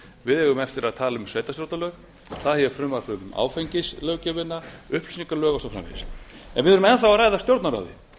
við eigum eftir að tala um sveitarstjórnarlög það er hér frumvarp um áfengislöggjöfina upplýsingalög og svo framvegis en við erum enn þá að ræða stjórnarráðið